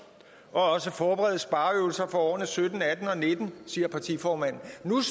og også forberede spareøvelser for årene sytten atten og nitten siger partiformanden